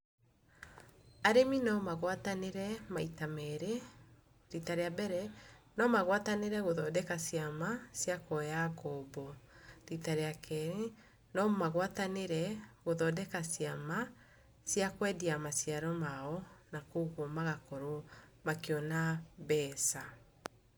Arĩmi no magwatanĩre maita merĩ. Rita rĩa mbere, no magwatanĩre gũthondeka ciama cia kuoya ngombo. Rita rĩa kerĩ, no magwatanĩre gũthondeka ciama cia kwendia maciaro mao, na kuoguo magakorwo makĩona mbeca.